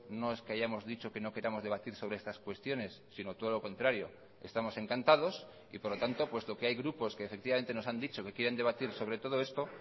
no es que hayamos dicho que no queramos debatir sobre estas cuestiones sino todo lo contrario estamos encantados y por lo tanto puesto que hay grupos que efectivamente nos han dicho que quieren debatir sobre todo esto